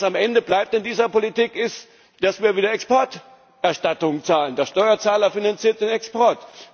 Was am Ende bleibt in dieser Politik, ist, dass wir wieder Exporterstattungen zahlen der Steuerzahler finanziert den Export.